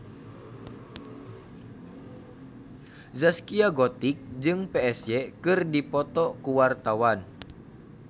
Zaskia Gotik jeung Psy keur dipoto ku wartawan